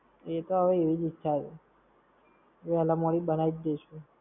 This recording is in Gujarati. એ તો હવે એવીજ ઈચ્છા છે. વેલા મોડી બનાઈ જ દઈશું.